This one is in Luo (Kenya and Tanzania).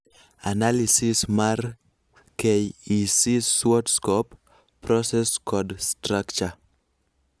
Analysis mar KEC SWOT-Scope ,process kod Structure.